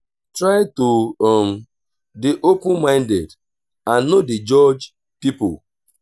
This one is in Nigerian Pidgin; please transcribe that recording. try to um dey open minded and no dey judge pipo